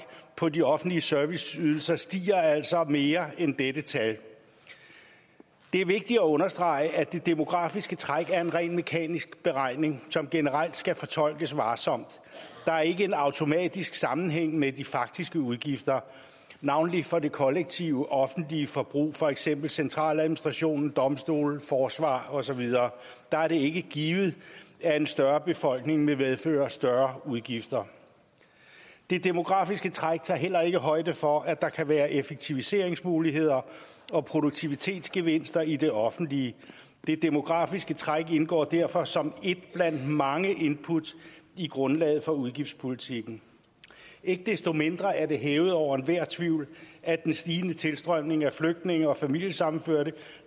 på de offentlige serviceydelser stiger altså mere end dette tal det er vigtigt at understrege at det demografiske træk er en rent mekanisk beregning som generelt skal fortolkes varsomt der er ikke en automatisk sammenhæng med de faktiske udgifter navnlig for det kollektive offentlige forbrug for eksempel centraladministrationen domstolene forsvaret og så videre der er det ikke givet at en større befolkning vil medføre større udgifter det demografiske træk tager heller ikke højde for at der kan være effektiviseringsmuligheder og produktivitetsgevinster i det offentlige det demografiske træk indgår derfor som ét blandt mange input i grundlaget for udgiftspolitikken ikke desto mindre er det hævet over enhver tvivl at den stigende tilstrømning af flygtninge og familiesammenførte